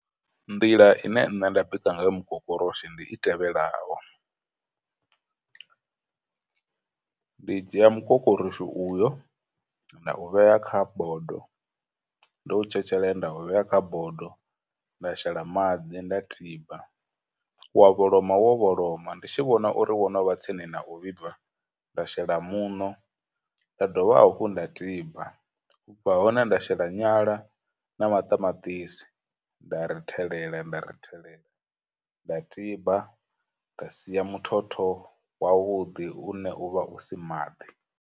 Nḓila ine nne nda bika nga yo mukokoroshi ndi i tevhelaho. Ndi dzhia mukokoroshi uyo na u vhea kha bodo, ndo u tshetshelela nda u vhea kha bodo nda shela maḓi nda tiba, wa vholoma wo vholoma, ndi tshi vhona uri wo no vha tsini na u vhibva, nda shela muṋo, nda dovha hafhu nda tiba, u bva hone nda shela nyala na maṱamaṱisi nda rithelela nda rithelela, nda tiba, nda sia muthotho wa vhuḓi une uvha u si maḓi.